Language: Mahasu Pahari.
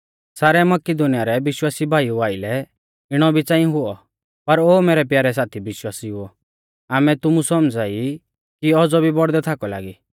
सारै मकिदुनीया रै विश्वासी भाईऊ आइलै इणौ भी च़ांई हुऔ पर ओ मैरै प्यारै साथी विश्वासिउओ आमै तुमु सौमझ़ाई कि औज़ौ भी बौड़दै थाकौ लागी